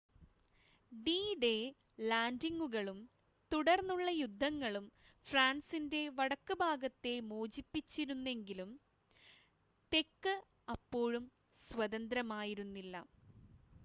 D-Day ലാൻഡിംഗുകളും തുടർന്നുള്ള യുദ്ധങ്ങളും ഫ്രാൻസിൻ്റെ വടക്ക് ഭാഗത്തെ മോചിപ്പിച്ചിരുന്നെങ്കിലും തെക്ക് അപ്പോഴും സ്വതന്ത്രമായിരുന്നില്ല